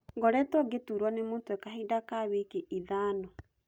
Ngũrĩtuo ngĩturuo nĩ mũtwe kahinda ka wiki ithana